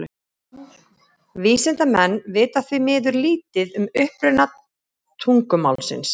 Vísindamenn vita því miður lítið um uppruna tungumálsins.